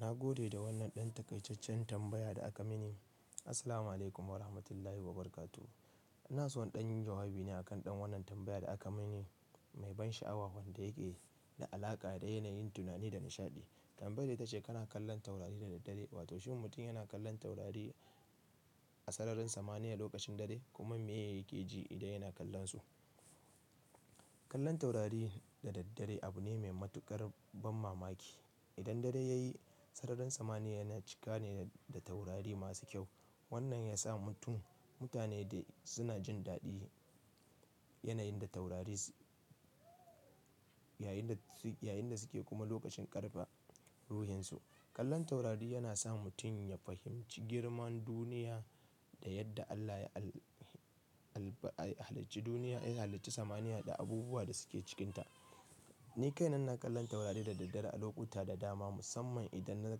Na gode da wannan ɗan takaicaccen tambaya da aka mini. Assalamualaikum Warahmatullahi Wabarakatuh. Ina so in ɗan yi jawabi ne akan ɗan wannan tambaya da aka mini mai ban sha'awa wanda yake da alaƙa da yanayin tunani da nishaɗi. Tambayar ita ce kana kallon taurari da daddare, wato shin mutum yana kallon taurari a sararin samaniya lokacin dare kuma me yake ji idan yana kallonsu? Kallon taurari da daddare abu ne mai matuƙar ban mamaki. Idan dare ya yi, sararin samaniya yana cika ne da taurari masu kyau. Wannan ya sa mutum, mutane dai suna jin daɗin yanayin da taurari, yayin da suke kuma lokacin ƙarfafa ruhinsu. Kallon taurari yana sa mutum ya fahimci girman duniya da yadda Allah ya halicci duniya, ya halicci samaniya da abubuwa da suke cikinta. Ni kaina ina kallon taurari da daddare a lokuta da dama, musamman idan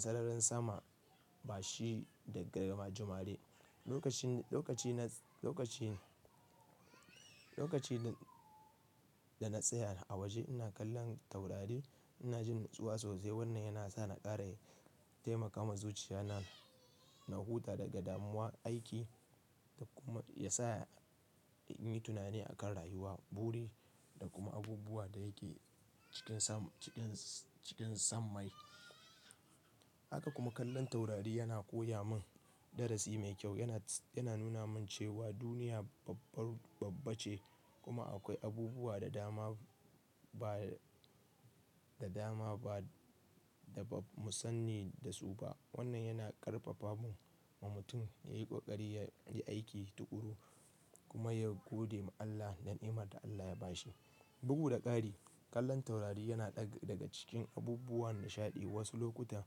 sararin sama bashi da garma jumare. Lokaci da na tsaya a waje ina kallon taurari ina jin natsuwa sosai. Wannan yana sa na ƙara taimaka ma zuciya nan na huta daga damuwan aiki da kuma ya sa in yi tunani a kan rayuwa, buri da kuma abubuwa da yake cikin sammai. Haka kuma kallon taurari yana koya min darasi mai kyau. Yana nuna min cewa duniya babbar babba ce kuma akwai abubuwa da dama ba da ba mu sanni da su ba. Wannan yana ƙarfafawa mutum ya yi ƙoƙari, ya yi aiki tuƙuru kuma ya gode ma Allah da ni'imar da Allah ya ba shi. Bugu da ƙari, kallon taurari yana ɗaga cikin abubuwan nishaɗi. Wasu lokuta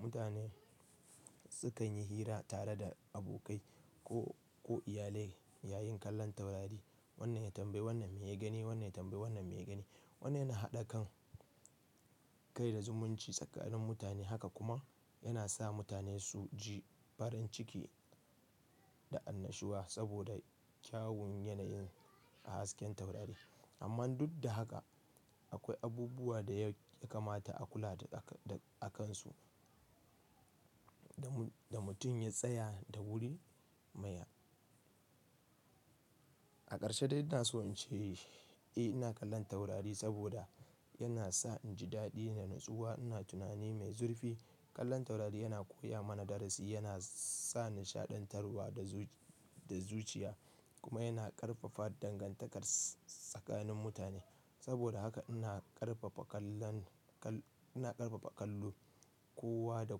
mutane sukan yi hira tare da abokai ko iyali yayin kallon taurari. Wannan ya tambayi wannan, meya gani, wannan ya tambayi wannan, meya gani. Wannan yana haɗa kan kai da zumunci tsakanin mutane. Haka kuma yana sa mutane su ji farin ciki da annashuwa saboda kyawun yanayin hasken taurari. Amma duk da haka akwai abubuwa da ya kamata a kula akansu da mutum ya tsaya da wuri mai. A ƙarshe dai ina so in ce, eh ina kallon taurari saboda yana sa in ji daɗi da natsuwa. Ina tunani mai zurfi. Kallon taurari yana koya mana darasi, yana sa nishaɗantarwa da zuciya kuma yana ƙarfafa dangantakar tsakanin mutane. Saboda haka ina ƙarfafa kallon, ina ƙarfafa kallo kowa da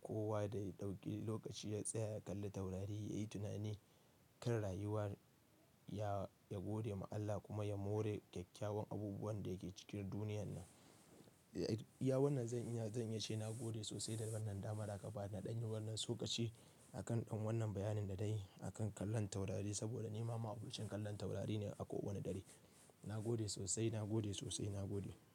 kowa da ya ɗauki lokaci ya tsaya ya kalli taurari, ya yi tunani kan rayuwa, ya gode ma Allah kuma ya more kyakkyawan abubuwan da yake cikin duniyar nan. Iya wannan zan iya, zan iya ce na gode sosai da wannan damar da aka bani na ɗan yi wannan tsokachi akan ɗan wannan bayanin da dai akan kallon taurari saboda ni ma ma'abocin kallon taurari ne a kowane dare. Na gode sosai, na gode sosai, na gode.